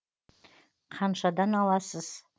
қаншадан аласыз